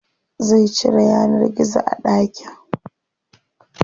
Zai cire yanar gizo a ɗakin.